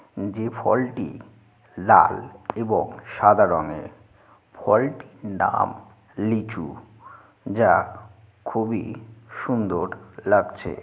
যে ফলটি লাল এবং সাদা রঙের ফলটির নাম লিচু যা খুবই সুন্দর লাগছে।